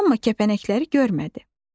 Amma kəpənəkləri görmədi.